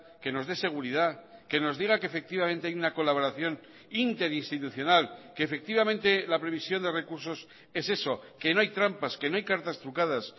que nos dé seguridad que nos diga que efectivamente hay una colaboración interinstitucional que efectivamente la previsión de recursos es eso que no hay trampas que no hay cartas trucadas